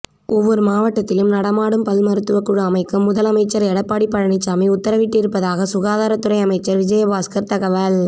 ஒவ்வொரு மாவட்டத்திலும் நடமாடும் பல் மருத்துவக்குழு அமைக்க முதல் அமைச்சர் எடப்பாடி பழனிசாமி உத்தரவிட்டிருப்பதாக சுகாதாரத்துறை அமைச்சர் விஜயபாஸ்கர் தகவல்